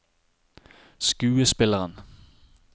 skuespilleren